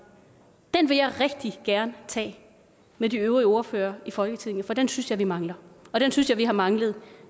vil jeg rigtig gerne tage med de øvrige ordførere i folketinget for den synes jeg vi mangler og den synes jeg vi har manglet